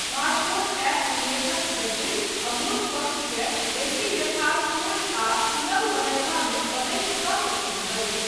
Smartphone app निवेशक जटिल, अमूर्त पक्षकेँ बेसी यथार्थपूर्ण आ सुलभ बनयबामे मदति कऽ सकैत अछि।